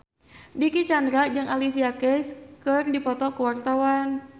Dicky Chandra jeung Alicia Keys keur dipoto ku wartawan